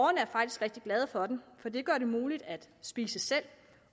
er faktisk rigtig glade for dem for de gør det muligt at spise selv